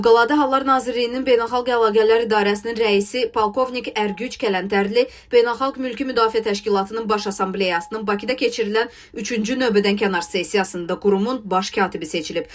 Fövqəladə Hallar Nazirliyinin beynəlxalq əlaqələr idarəsinin rəisi, polkovnik Ərgüc Kələntərli, Beynəlxalq Mülki Müdafiə Təşkilatının Baş Assambleyasının Bakıda keçirilən üçüncü növbədənkənar sessiyasında qurumun baş katibi seçilib.